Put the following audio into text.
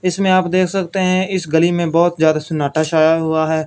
इसमें आप देख सकते हैं इस गली में बहोत जादा सनाटा छाया हुआ है।